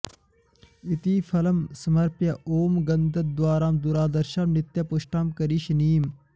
इति फलं समर्प्य ॐ गन्ध॑द्वा॒रां दु॑राध॒र्षां नित्य॑पुष्टां करी॒षिणी॑म्